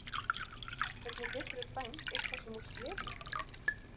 Hvernig geturðu dæmt eitthvað sem þú sérð ekki?